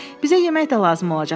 Bizə yemək də lazım olacaq.